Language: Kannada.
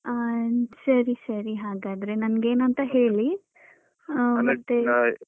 ಅಹ್ ಸರಿ ಸರಿ ಹಾಗಾದ್ರೆ ನಂಗೇನಂತ ಹೇಳಿ ಅಂದ್ರೆ